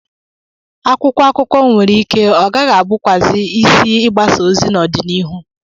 Akwụkwọ akụkọ nwere ike ọ gaghị abụkwazị isi ịgbasa ozi n'ọdịnihu.